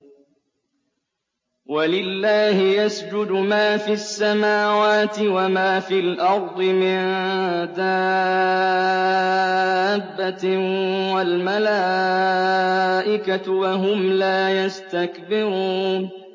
وَلِلَّهِ يَسْجُدُ مَا فِي السَّمَاوَاتِ وَمَا فِي الْأَرْضِ مِن دَابَّةٍ وَالْمَلَائِكَةُ وَهُمْ لَا يَسْتَكْبِرُونَ